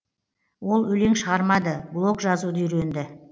ол өлең шығармады блог жазуды үйренді